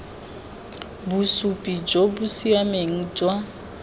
bosupi jo bo siameng jwa